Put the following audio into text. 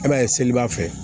E b'a ye seliba fɛ